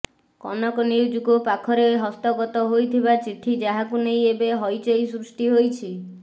କନକ ନ୍ୟୁଜକୁ ପାଖରେ ହସ୍ତଗତ ହୋଇଥିବା ଚିଠି ଯାହାକୁ ନେଇ ଏବେ ହଇଚଇ ସୃଷ୍ଟି ହୋଇଛି